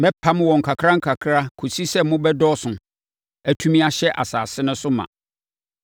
Mɛpam wɔn nkakrankakra kɔsi sɛ mobɛdɔɔso, atumi ahyɛ asase no so ma.